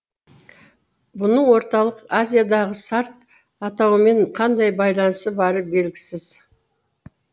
бұның орталық азиядағы сарт атауымен қандай байланысы бары белгісіз